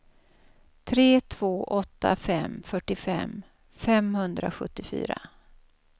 tre två åtta fem fyrtiofem femhundrasjuttiofyra